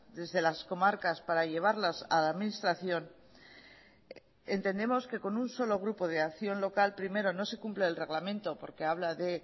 desde las comarcas para llevarlas a la administración entendemos que con un solo grupo de acción local primero no se cumple el reglamento porque habla de